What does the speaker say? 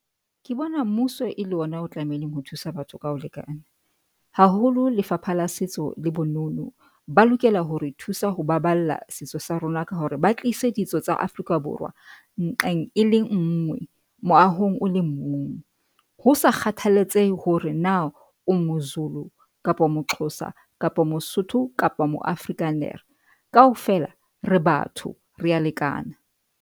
Ke bona mmuso e le ona o tlamehileng ho thusa batho ka ho lekana haholo Lefapha la Setso le Bonono ba lokela hore thusa ho baballa setso sa rona ka hore ba tlise ditso tsa Afrika Borwa nqeng e le ngwe moahong o le mong, hosa kgathaletsehe hore na o moZulu kapa moXhosa kapa Mosotho kapa mo Afrikaner kaofela re batho re a lekana.